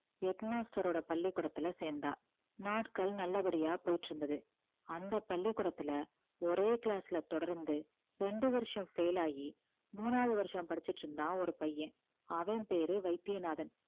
head master ஓட பள்ளிக்கூடத்துல சேர்ந்தா நாட்கள் நல்லபடியா போயிட்டு இருந்தது அந்த பள்ளிக்கூடத்துல ஒரே class ல தொடர்ந்து ரெண்டு வருஷம் fail ஆகி மூணாவது வருஷம் படிச்சுட்டு இருந்தான் ஒரு பையன் அவன் பேரு வைத்தியநாதன்